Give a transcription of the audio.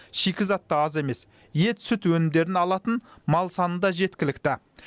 шикізат та аз емес ет сүт өнімдерін алатын мал саны да жеткілікті